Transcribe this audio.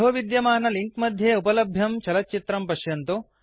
अधः विद्यमाने लिंक मध्ये उपलभ्यं चलच्चित्रं पश्यन्तु